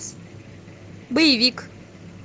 боевик